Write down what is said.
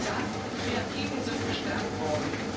sagen Die Kreativen sind gestärkt worden.